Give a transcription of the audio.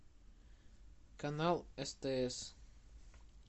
канал стс